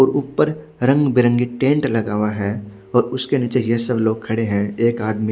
उर ऊपर रंग बिरंगे टेंट लगे हुए है और उसके निचे हेयर सर लोग खड़े है एक आदमी--